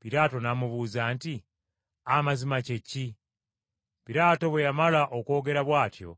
Piraato n’amubuuza nti, “Amazima kye ki?” Piraato bwe yamala okwogera bw’atyo